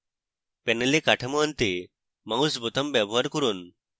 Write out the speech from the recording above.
panel কাঠামো আনতে mouse বোতাম ব্যবহার করুন